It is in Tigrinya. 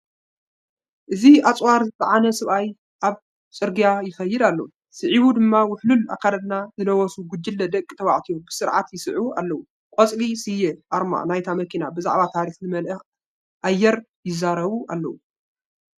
እዚ ኣጽዋር ዝጸዓነ ሰብኣይ ኣብ ጽርግያ ይኸይድ ኣሎ። ስዒቡ ድማ ውሕሉል ኣከዳድና ዝለበሱ ጉጅለ ደቂ ተባዕትዮ ብስርዓት ይስዕብ ኣለው። ቆጽሊ ስየን ኣርማ ናይታ መኪናን ብዛዕባ ታሪኽ ዝመልአ ኣየር ይዛረቡ ኣለው።